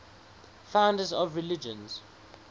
founders of religions